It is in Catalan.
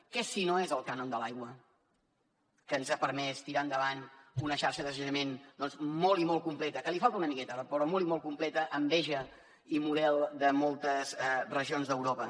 què si no és el cànon de l’aigua que ens ha permès tirar endavant una xarxa de sanejament molt i molt completa que li falta una miqueta d’acord però és molt i molt completa enveja i model de moltes regions d’europa